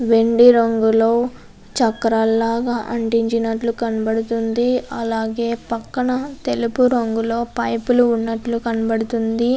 వెండి రంగులో చక్రం లాగా అంటించినట్టు కనబడుతుంది. అలాగే పక్కన తెలుపు రంగులో పైపు లు ఉన్నట్టుగా కనబడుతుంది.